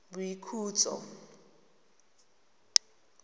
boikhutso